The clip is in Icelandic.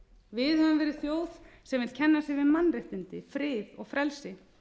við höfum verið þjóð sem vill kenna sig við mannréttindi frið og frelsi